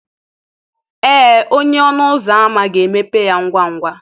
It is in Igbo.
Ee onye ọnụ ụzọ ámá ga-emepe ya ngwa ngwa.